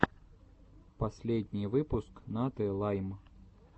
последний выпуск наты лайм